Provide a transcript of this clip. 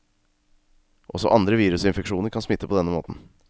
Også andre virusinfeksjoner kan smitte på denne måten.